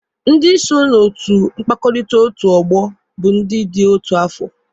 Ndị so na otu mkpakọrịta otu ọgbọ bụ ndị dị otu afọ